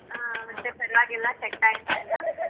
ಆ ಮತ್ತೆ ಪರ್ವಾಗಿಲ್ಲ set ಆಯ್ತಾ ಎಲ್ಲಾ?